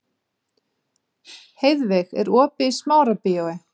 Heiðveig, er opið í Smárabíói?